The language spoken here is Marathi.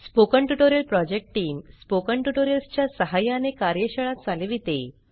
spoken tutorial project team spoken tutorials च्या सहाय्याने कार्यशाळा चालविते